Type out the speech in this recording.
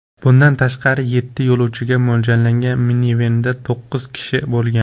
Bundan tashqari, yetti yo‘lovchiga mo‘ljallangan minivenda to‘qqiz kishi bo‘lgan.